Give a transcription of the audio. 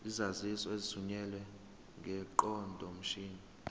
izaziso ezithunyelwe ngeqondomshini